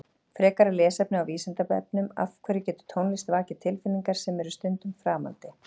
Frekara lesefni á Vísindavefnum Af hverju getur tónlist vakið tilfinningar sem eru stundum framandi?